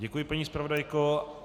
Děkuji, paní zpravodajko.